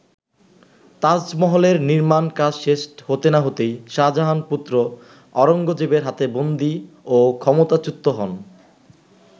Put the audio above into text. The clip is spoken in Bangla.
তাজমহলের নির্মাণ কাজ শেষ হতে না হতেই শাহজাহান-পুত্র আওরঙ্গজেবের হাতে বন্দী ও ক্ষমতাচ্যুত হন।